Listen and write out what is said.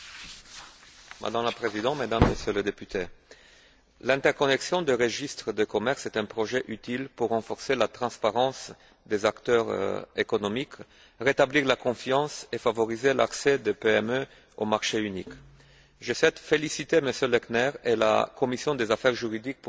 Madame la Présidente, Mesdames et Messieurs les députés, l'interconnexion des registres de commerce est un projet utile pour renforcer la transparence des acteurs économiques, rétablir la confiance et favoriser l'accès des PME au marché unique. Je félicite M. Lechner et la commission des affaires juridiques pour ce rapport.